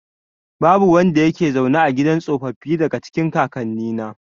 Babu wanda yake zaune a gidan tsofaffi, daga cikin kakannina.